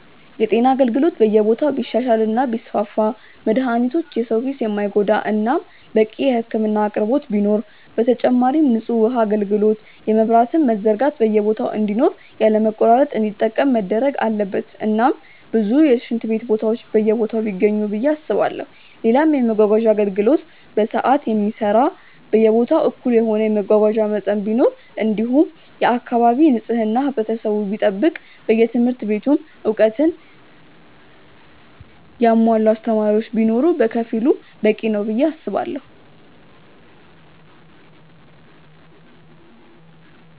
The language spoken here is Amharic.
የጤና አገልግሎት በየቦታው ቢሻሻል እና ቢስፋፋ መድሃኒቶች የሰው ኪስ የማይጎዳ እናም በቂ የህክምና አቅርቦት ቢኖር፣ በተጨማሪም ንጹህ ውሃ አጋልግሎት የመብራትም መዘርጋት በየቦታ እንዲኖር ያለ መቆራረጥ እንዲጠቀም መደረግ አለበት እናም ብዙ የሽንት ቤት ቦታዎች በየቦታው ቢገኙ ብዬ አስባለው፣ ሌላም የመመጓጓዣ አገልግሎት በሰዓት የሚሰራ በየቦታው እኩል የሆነ የመጓጓዣ መጠን ቢኖር እንዲሁም የአካባቢ ንጽህና ህብረተሰቡ ቢጠብቅ በየትምህርት ቤቱም እውቀትን ያሙዋላ አስተማሪዎች ቢኖር በከፊሉ በቂ ነው ብዬ አስባለው።